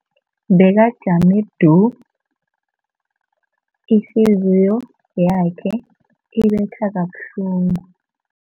Bekajame du, ihliziyo yakhe ibetha kabuhlungu.